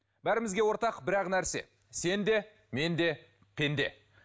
бәрімізге ортақ бір ақ нәрсе сен де мен де пенде